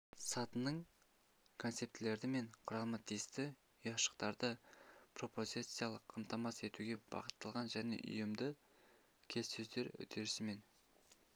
сатысының концептілері мен құрамы тиісті ұяшықтарды пропозициялық қамтамасыз етуге бағытталған және ұйымды келіссөздер үдерісі мен